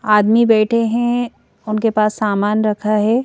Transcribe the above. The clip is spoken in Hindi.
आदमी बैठे हैं उनके पास सामान रखा है।